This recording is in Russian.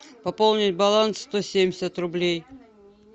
пополнить баланс сто семьдесят рублей